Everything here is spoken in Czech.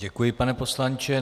Děkuji, pane poslanče.